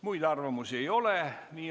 Muid arvamusi ei ole.